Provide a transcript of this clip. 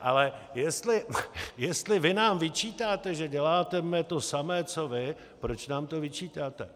Ale jestli vy nám vyčítáte, že děláme to samé co vy, proč nám to vyčítáte?